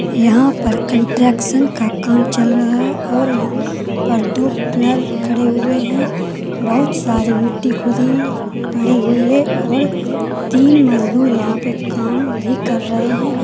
यहाँ पर कंट्रक्शन का काम चल रहा है और यहाँ पर दो पिल्लर खड़े हुए हैं बहुत सारी मिट्टी खुदी पड़ी हुई है और तीन मजदूर यहाँ पे काम भी कर रहें हैं।